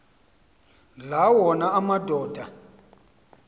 la wona amadoda